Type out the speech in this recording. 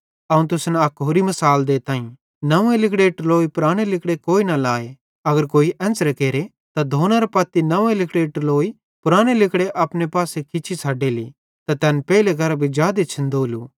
अवं तुसन अक होरि मिसाल देताईं नंव्वे लिगड़ेरी टलोई पुराने लिगड़े कोई न लाए अगर कोई एन्च़रां केरे त धोनेरे पत्ती नंव्वे लिगड़ेरी टलोई पुराने लिगड़े अपने पासे खिच्ची छ़ड्डेली त तैन पेइले केरां भी जादे छ़िन्दोलू